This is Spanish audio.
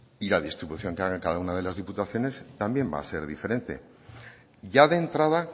y la distribución que haga cada una de las diputaciones también va a ser diferente ya de entrada